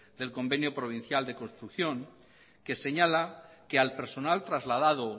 del convenio provincial de construcción que señala que al personal trasladado